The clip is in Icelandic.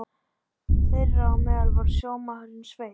Þeirra á meðal var sjómaðurinn Sveinn.